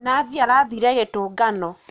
Nathi arathire gītūngano